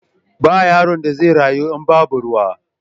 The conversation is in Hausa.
Ba yaron da zai rayu in babu ruwa.